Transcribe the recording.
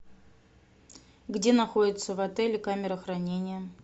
где находится в отеле камера хранения